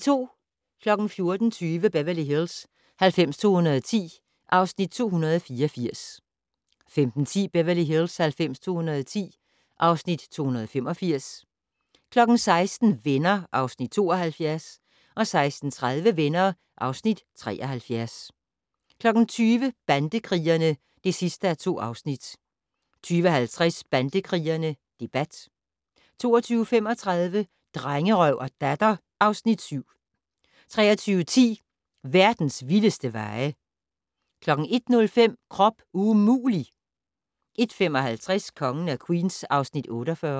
14:20: Beverly Hills 90210 (Afs. 284) 15:10: Beverly Hills 90210 (Afs. 285) 16:00: Venner (Afs. 72) 16:30: Venner (Afs. 73) 20:00: Bandekrigerne (2:2) 20:50: Bandekrigerne - debat 22:35: Drengerøv og Datter (Afs. 7) 23:10: Verdens vildeste veje 01:05: Krop umulig! 01:55: Kongen af Queens (Afs. 48)